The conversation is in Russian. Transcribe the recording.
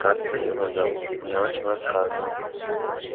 как-то его зовут мне отчим рассказывал